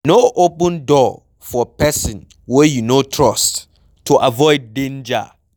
No open door for person wey you no trust to avoid danger